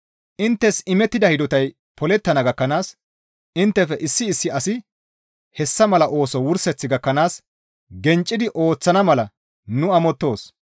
Inttes imettida hidotay polettana gakkanaas inttefe issi issi asi hessa mala ooso wurseth gakkanaas genccidi ooththana mala nu amottoos.